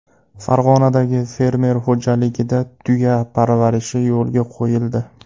Farg‘onadagi fermer xo‘jaligida tuya parvarishi yo‘lga qo‘yildi.